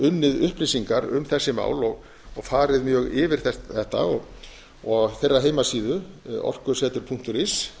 unnið upplýsingar um þessi mál og farið mjög yfir þetta á þeirra heimasíðu orkusetur punktur is